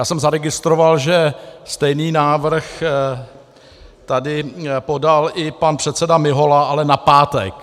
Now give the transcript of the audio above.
Já jsem zaregistroval, že stejný návrh tady podal i pan předseda Mihola, ale na pátek.